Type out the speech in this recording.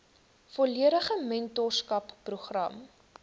volledige mentorskap program